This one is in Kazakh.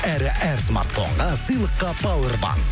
әрі әр смартфонға сыйлыққа пауэр банк